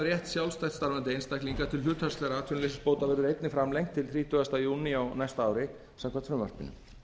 rétt sjálfstætt starfandi einstaklinga til hlutfallslegra atvinnuleysisbóta verður einnig framlengt til þrítugasta júní á næsta ári samkvæmt frumvarpinu